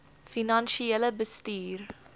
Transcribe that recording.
finansiële bestuur